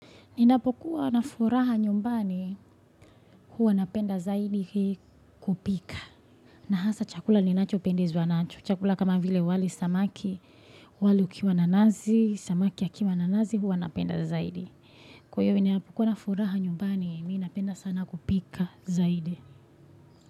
Ninapokuwa na furaha nyumbani huwa napenda zaidi kupika. Na hasa chakula ninacho pendezwa nacho. Chakula kama vile wali samaki, wali ukiwa na nazi, samaki akiwa na nazi huwa napenda zaidi. Kwa hio ninapokuwa na furaha nyumbani ninapenda sana kupika zaidi.